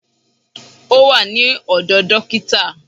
Ó wà ní ọ̀dọ̀ dókítà